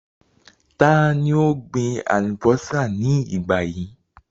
Ta ni ó ń gbin àlùbọ́sà ní ìgbà yìí?